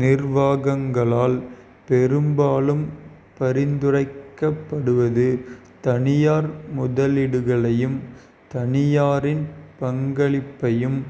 நிர்வாகங்களால் பெரும்பாலும் பரிந்துரைக்கப்படுவது தனியார் முதலீடுகளையும் தனியாரின் பங்களிப்பையும்